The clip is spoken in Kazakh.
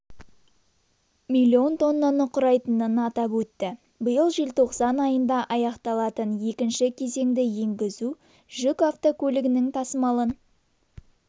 миллион тоннаны құрайтынын атап өтті биыл желтоқсан айында аяқталатын екінші кезеңді енгізу жүк автокөліктерінің тасымалын